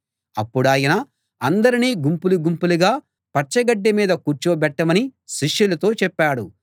అప్పుడాయన అందరినీ గుంపులు గుంపులుగా పచ్చగడ్డి మీద కూర్చోబెట్టమని శిష్యులతో చెప్పాడు